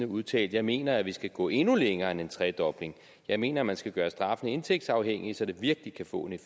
udtalte jeg mener at vi skal gå endnu længere end en tredobling jeg mener at man skal gøre straffene indtægtsafhængige så det virkelig kan få